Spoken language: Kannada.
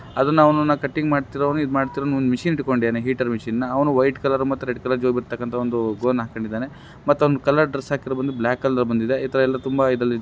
ಅದನ್ನ ಅವನನ್ನ ಕಟಿಂಗ್ ಮಾಡ್ತಿರುವವನು ಇದ್ ಮಾಡ್ತಿರುವವನು ಒಂದು ಮಷೀನ್ ಹಿಡ್ಕೊಂಡಿದಾನೆ ಹೀಟರ್ ಮಷೀನ್ ನ ಅವನು ವೈಟ್ ಕಲರ್ ಮತ್ತೆ ರೆಡ್ ಕಲರ್ ಜೋಬ್ ಇರೋ ತಕ್ಕಂತಹ ಒಂದು ಗೌನ್ಹಾ ಕ್ಕೊಂಡಿದ್ದಾನೆ ಮತ್ತೆ ಅವನು ಕಲರ್ ಡ್ರೆಸ್ ಹಾಕಿರೋದು ಬ್ಲಾಕ್ ಬಂದಿದೆ ಈ ತರಹ ತುಂಬಾ ಇದರಲ್ಲಿ--